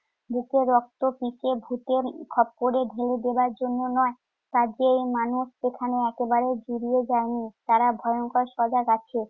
বুকের রক্তটিকে ভুতের খপ্পরে ঢেলে দেবার জন্য নয়। কাজেই মানুষ এখানে একেবারেই জুড়িয়ে যায়নি। তারা ভয়ংকর সজাগ আছে।